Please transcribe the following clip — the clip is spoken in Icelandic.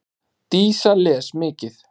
Dísa les mikið.